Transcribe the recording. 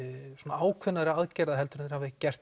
ákveðnari aðgerða en þeir hafa gert